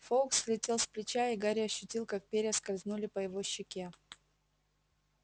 фоукс слетел с плеча и гарри ощутил как перья скользнули по его щеке